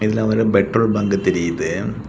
இதுல ஒரு petrol bunk தெரியுது.